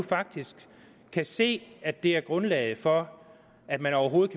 faktisk kan se at det er grundlaget for at man overhovedet